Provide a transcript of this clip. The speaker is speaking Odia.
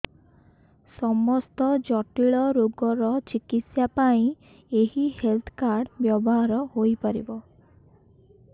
ସମସ୍ତ ଜଟିଳ ରୋଗର ଚିକିତ୍ସା ପାଇଁ ଏହି ହେଲ୍ଥ କାର୍ଡ ବ୍ୟବହାର ହୋଇପାରିବ